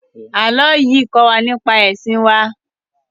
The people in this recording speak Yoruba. Ààlọ́ yìí kó wa nípa ẹ̀sìn wá